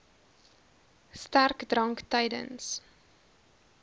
sterk drank tydens